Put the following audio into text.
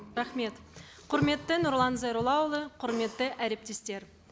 рахмет құрметті нұрлан зайроллаұлы құрметті әріптестер